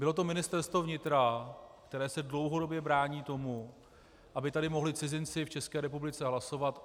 Bylo to Ministerstvo vnitra, které se dlouhodobě brání tomu, aby tady mohli cizinci v České republice hlasovat.